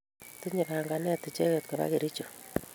Tinye panganet icheket kopa Kericho